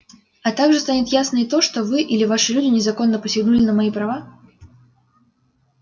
а также станет ясно и то что вы или ваши люди незаконно посягнули на мои права